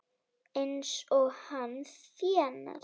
Eins og hann þénar!